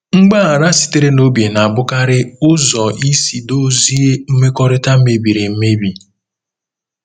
Mgbaghara sitere n'obi na-abụkarị ụzọ isi dozie mmekọrịta mebiri emebi.